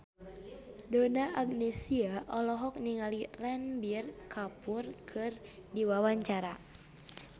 Donna Agnesia olohok ningali Ranbir Kapoor keur diwawancara